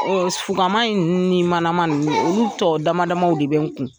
fukama in ni manama nin olu tɔ damadaw de bɛ n kun